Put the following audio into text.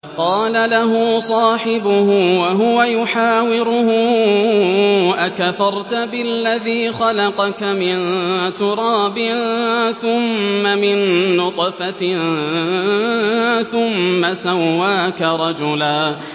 قَالَ لَهُ صَاحِبُهُ وَهُوَ يُحَاوِرُهُ أَكَفَرْتَ بِالَّذِي خَلَقَكَ مِن تُرَابٍ ثُمَّ مِن نُّطْفَةٍ ثُمَّ سَوَّاكَ رَجُلًا